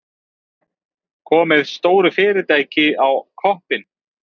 Komið stóru fyrirtæki á koppinn.